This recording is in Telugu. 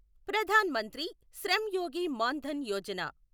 ప్రధాన్ మంత్రి శ్రమ్ యోగి మాన్ ధన్ యోజన